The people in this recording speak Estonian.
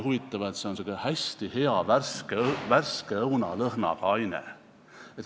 Huvitav, et see on hästi hea värske õuna lõhnaga aine.